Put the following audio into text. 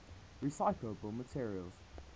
recyclable materials